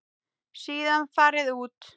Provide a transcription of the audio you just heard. Síðan farið út.